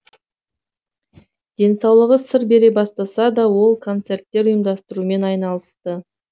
денсаулығы сыр бере бастаса да ол концерттер ұйымдастырумен айналысты